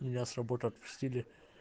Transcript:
меня с работы отпустили